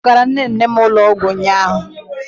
Ị kpọgara nne nne m ụlọ ọgwụ ụnyaahụ?